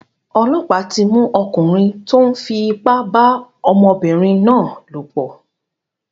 Ọlọ́pàá tí mú ọkùnrin tó ń fi ipá ba ọmọbìnrin náà lòpọ̀.